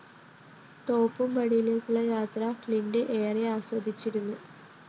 തോപ്പുംപടിയിലേക്കുള്ള യാത്ര ക്ലിന്റ് ഏറെ ആസ്വദിച്ചിരുന്നു